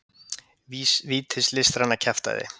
vítis listræna kjaftæði.